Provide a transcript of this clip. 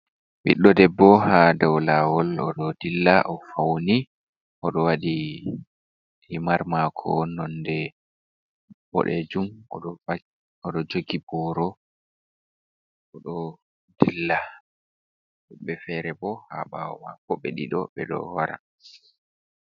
Ɓiɗɗo debbo ha dow lawol. Oɗo dilla o fauni oɗo waɗi himar maako nonde boɗejum, oɗo jogi booro, oɗo dilla. Woɗɓe ferebo ha ɓawo mako ɓe ɗiɗo ɓeɗo wara.